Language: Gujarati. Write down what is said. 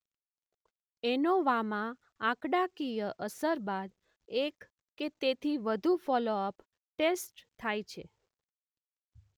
એનોવામાં આંકડાકીય અસર બાદ એક કે તેથી વધુ ફોલો અપ ટેસ્ટ થાય છે.